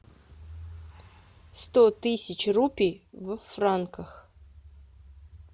сто тысяч рупий в франках